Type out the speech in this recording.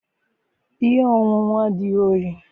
ihe ọṅụṅụ adịghị oyi